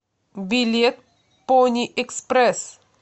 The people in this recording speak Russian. билет пони экспресс